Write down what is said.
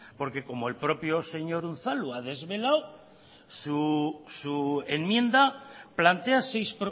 porque como el propio señor unzalu ha desvelado su enmienda plantea seis